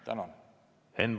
Tänan!